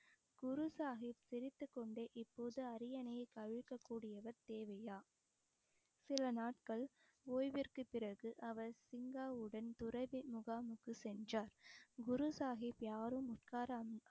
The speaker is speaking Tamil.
குரு சாஹிப் சிரித்துக்கொண்டே இப்போது அரியணையை கவிழ்க்கக்கூடியவர் தேவையா சில நாட்கள் ஓய்விற்கு பிறகு அவர் சிங்காவுடன் துறவி முகாமுக்கு சென்றார் குரு சாஹிப் யாரும் உட்கார